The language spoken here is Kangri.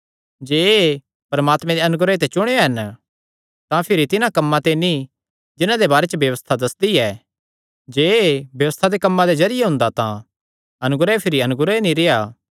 जे एह़ परमात्मे दे अनुग्रह ते चुणेयो हन तां भिरी तिन्हां कम्मां ते नीं जिन्हां दे बारे च व्यबस्था दस्सदी ऐ जे एह़ व्यबस्था दे कम्मां दे जरिये हुंदा तां अनुग्रह भिरी अनुग्रह नीं रेह्आ